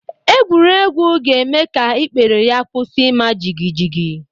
Egwuregwu ga-eme ka ikpere ya kwusi ima jigijigi